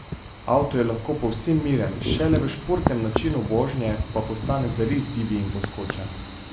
Avto je lahko povsem miren, šele v športnem načinu vožnje pa postane zares divji in poskočen.